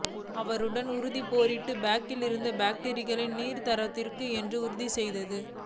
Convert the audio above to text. அவருடன் உதிரி battery pack இருந்தது பேட்டரிகள் நீராதாரத்திற்கும் என்று உறுதி செய்து